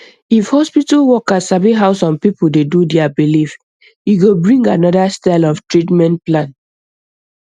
if hospital worker sabi how some people dey do their belief e go bring another style of treatment plan